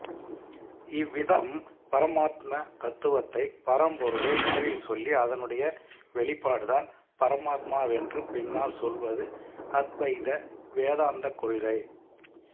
இவ்விதம் பரமாத்ம தத்துவத்தை பரம்பொருளை முதலில் சொல்லி அதனுடைய வெளிப்பாடுதான் பரமாத்மாவென்று பின்னால் சொல்வது அத்வைத வேதாந்தக் கொள்கை